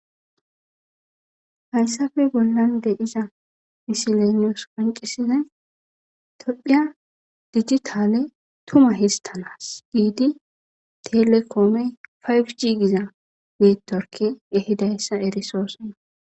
Hayssafe bollande iza misileniyos panqisizay tophiya dijitale tuma histanas giidi telekoomey payg jiigiza mitorki ehidayssa erisoose.